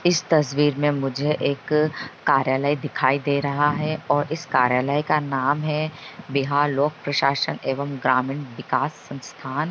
इस तस्वीर मे मुझे एक कार्यालय दिखाई दे रहा है और इस कार्यालय का नाम है बिहार लोक प्रशासन एवं ग्रामीण बिकास संस्थान।